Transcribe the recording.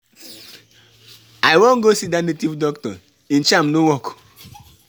I wan go see dat native doctor, im charm no work.